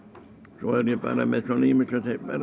svo er ég bara með ýmislegt